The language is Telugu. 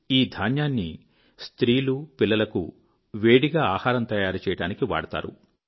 ఈ ధాన్యాన్ని స్త్రీలు పిల్లలకు వేడిగా ఆహారం తయారుచేయడానికి వాడతారు